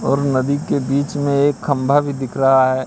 और नदी के बीच में एक खम्बा भी दिख रहा है।